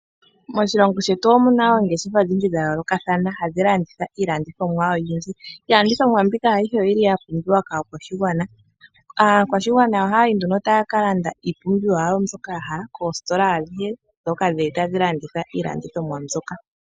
Moshilongo shetu omuna oongeshefa odhindji dhayoolokathana ohadhi landitha iilandithomwa oyindji. Iilandithomwa mbika ayihe oyili yapumbiwa kaakwashigwana. Aakwashigwana oyeli haya yi nduno taya kalanda iipumbiwa yawo mbyoka taya hala koositola adhihe dhili tadhi landitha iilandithomwa mbyoka.